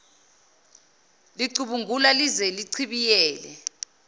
licubungula lize lichibiyele